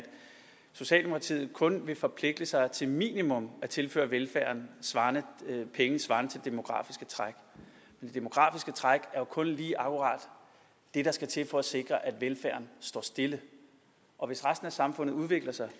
socialdemokratiet kun vil forpligte sig til minimum at tilføre velfærden penge svarende til det demografiske træk det demografiske træk er jo kun lige akkurat det der skal til for at sikre at velfærden står stille og hvis resten af samfundet udvikler sig